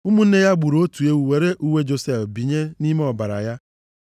Ụmụnne ya gburu otu ewu were uwe Josef bịanye nʼime ọbara ya.